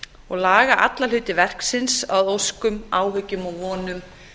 og laga alla hluta verksins að óskum áhyggjum og vonum